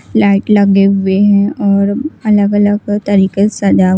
light लगे हुए हैं और अलग अलग तरीके से सजा --